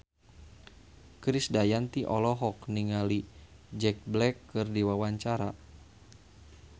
Krisdayanti olohok ningali Jack Black keur diwawancara